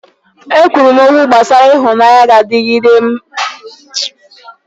E kwuru m okwu gbasara ịhụnanya na-adịgide oge mụ na ndị enyi m nọ n'ụlọ anyị.